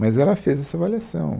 Mas ela fez essa avaliação.